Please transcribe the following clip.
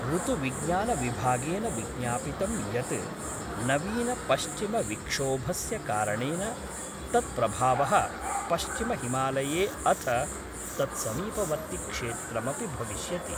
ऋतुविज्ञानविभागेन विज्ञापितं यत् नवीनपश्चिमविक्षोभस्य कारणेन तत् प्रभावः पश्चिमहिमालये अथ तत्समीपवर्ति क्षेत्रमपि भविष्यति।